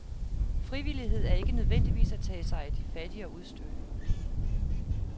Frivillighed er ikke nødvendigvis at tage sig af de fattige og udstødte.